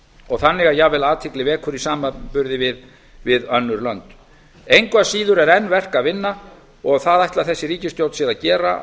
og þannig að jafnvel athygli vekur í samanburði við önnur lönd engu að síður er enn verk að vinna og það ætlar þessi ríkisstjórn sér að